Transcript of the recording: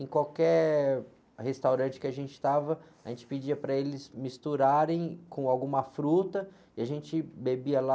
Em qualquer restaurante que a gente estava, a gente pedia para eles misturarem com alguma fruta e a gente bebia lá...